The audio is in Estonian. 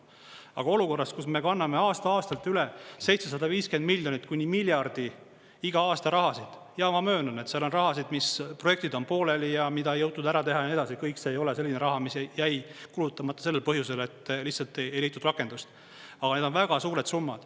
Aga olukorras, kus me kanname aasta-aastalt üle 750 miljonit kuni miljardi iga aasta raha – ja ma möönan, et seal on rahasid, mis projektid on pooleli ja mida ei jõutud ära teha ja nii edasi, kõik see ei ole selline raha, mis jäi kulutamata sellel põhjusel, et lihtsalt ei leitud rakendust –, aga need on väga suured summad.